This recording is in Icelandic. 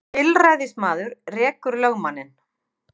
Tilræðismaður rekur lögmanninn